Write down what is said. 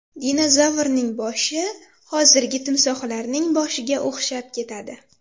Dinozavrning boshi hozirgi timsohlarning boshiga o‘xshab ketadi.